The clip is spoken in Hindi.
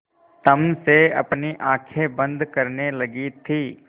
तम से अपनी आँखें बंद करने लगी थी